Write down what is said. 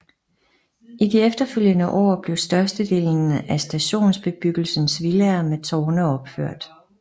I de efterfølgende år blev størstedelen af stationsbebyggelsens villaer med tårne opført